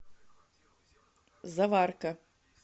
заварка